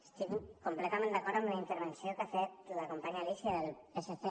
estic completament d’acord amb la intervenció que ha fet la companya alícia del psc